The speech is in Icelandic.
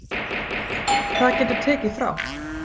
Það getur tekið frá